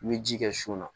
I bɛ ji kɛ sun na